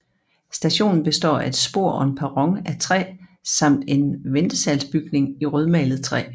Stationen består af et spor og en perron af træ samt en ventesalsbygning i rødmalet træ